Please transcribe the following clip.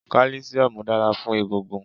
Kálísíómù dára fún egungun